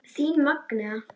Þín Magnea.